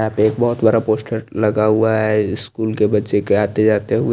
यहा पे एक बहोत बड़ा पोस्टर लगा हुआ है स्कूल के बच्चे के आते जाते हुए--